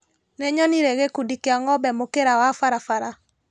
Nĩnyonire gĩkundi kĩa ngombe mũkĩra wa barabara.